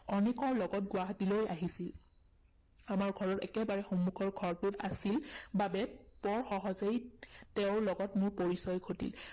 অনেকৰ লগত গুৱাহাটী আহিছিল। আমাৰ ঘৰৰ একেবাৰে সন্মুখৰ ঘৰটোত আছিল বাবে বৰ সহজেই তেওঁৰ লগত মোৰ পৰিচয় ঘটিল।